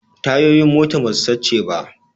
Tayoyin motar ba su sace ba